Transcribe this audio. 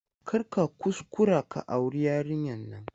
Kar ka kuskura ka auri yarinyar nan!